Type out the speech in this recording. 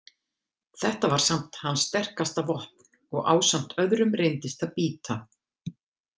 Þetta var samt hans sterkasta vopn og ásamt öðrum reyndist það bíta.